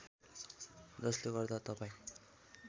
जसले गर्दा तपाईँ